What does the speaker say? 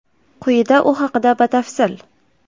Quyida u haqida batafsil.